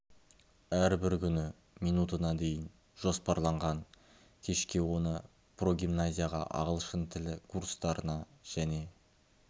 әрбір күні минутына дейін жоспарланған кешке оны прогимназияға ағылшын тілі курстарына және